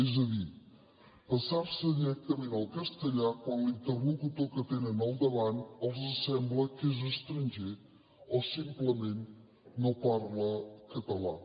és a dir passar se directament al castellà quan l’interlocutor que tenen al davant els sembla que és estranger o simplement no parla català